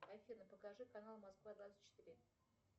афина покажи канал москва двадцать четыре